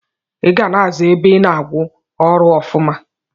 Iga na aza ebe ina awụ arụ ọfuma.